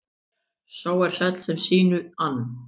Sá er sæll sem sínu ann.